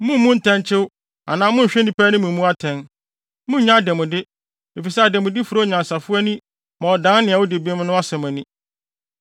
Mummmu ntɛnkyew anaa monnhwɛ nnipa anim mmu atɛn. Monnnye adanmude, efisɛ adanmude fura onyansafo ani ma ɔdan nea odi bem no asɛm ani.